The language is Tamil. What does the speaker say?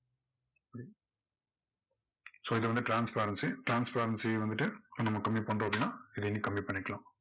so இது வந்துட்டு transparency transparency வந்துட்டு நம்ம கம்மி பண்ணிட்டோம் அப்படின்னா நம்ம இதை இன்னும் கம்மி பண்ணிக்கலாம்.